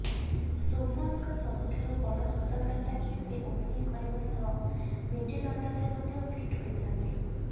ଶୁଭମନଙ୍କ ସବୁଠାରୁ ବଡ ସ୍ୱତନ୍ତ୍ରତା କି ସେ ଓପନିଂ କରିବା ସହ ମିଲିଡ ଅଡରରେ ମଧ୍ୟ ଫିଟ ହୋଇଥାନ୍ତି